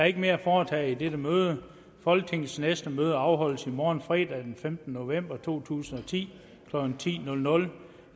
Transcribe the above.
ikke mere at foretage i dette møde folketingets næste møde afholdes i morgen fredag den femte november to tusind og ti klokken ti